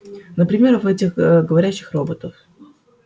например в этих ээ говорящих роботов